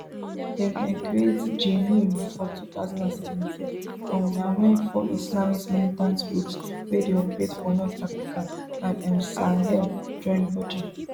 dem dem create jnim for two thousand and seventeen um na wen four islamist militant groups wey dey operate for north africa and um sahel join body